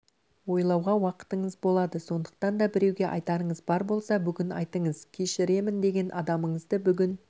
ойлауға уақытыңыз болады сондықтан да біреуге айтарыңыз бар болса бүгін айтыңыз кешіремін деген адамыңызды бүгін